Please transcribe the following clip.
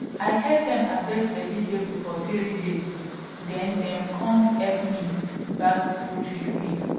i help dem harvest vegetable for three days then dem com help me bag poultry feed